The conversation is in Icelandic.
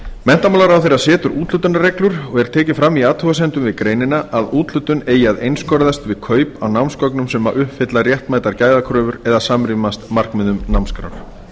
menntamálaráðherra setur úthlutunarreglur og er tekið fram í athugasemdum við greinina að úthlutun eigi að einskorðast við kaup á námsgögnum sem uppfylla réttmætar gæðakröfur eða samrýmast markmiðum námskrár